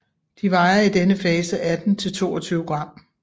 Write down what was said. De vejer i denne fase 18 til 22 g